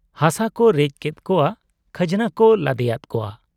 ᱦᱟᱥᱟ ᱠᱚ ᱨᱮᱡ ᱠᱮᱫ ᱠᱚᱣᱟ ,ᱠᱷᱟᱡᱽᱱᱟ ᱠᱚ ᱞᱟᱫᱮᱭᱟᱫ ᱠᱚᱣᱟ ᱾